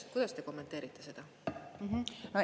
Kuidas te kommenteerite seda?